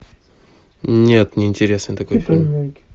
нет не интересен такой фильм